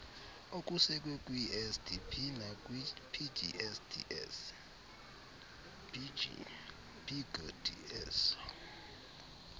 okusekwe kwinsdp nakwipgds